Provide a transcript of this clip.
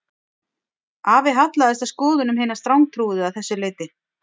Afi hallaðist að skoðunum hinna strangtrúuðu að þessu leyti